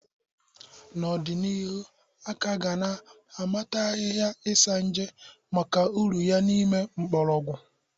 N'ọdịnihu, aga ka na amata ahịhịa Isanje maka uru ya n'ìmè mgborogwu.